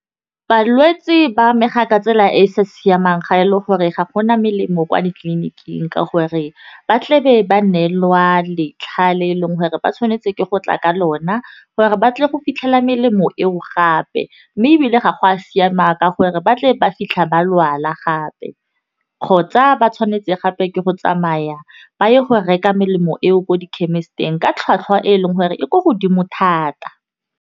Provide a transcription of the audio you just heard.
Balwetse ba amega ka tsela e e sa siamang ga e le gore ga gona melemo kwa ditleliniking ka gore, ba tle be ba neelwa letlha le e leng gore ba tshwanetse ke go tla ka lona gore ba tle go fitlhella melemo eo gape, mme ebile ga go a siama ka gore batle ba fitlha ba lwala gape. Kgotsa ba tshwanetse gape ke go tsamaya ba ye go reka melemo eo ko di-chemist-eng ka tlhwatlhwa e e leng gore e ko godimo thata.